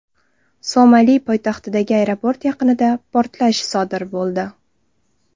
Somali poytaxtidagi aeroport yaqinida portlash sodir bo‘ldi.